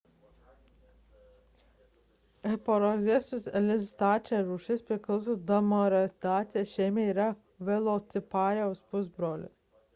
hesperonychus elizabethae rūšis priklauso dromaeosauridae šeimai ir yra velociraptoriaus pusbrolis